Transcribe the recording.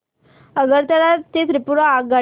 आगरतळा ते त्रिपुरा आगगाडी